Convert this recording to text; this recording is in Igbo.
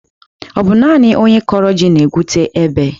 Ọ bụ naani onye kọrọ ji na-egwute ebe.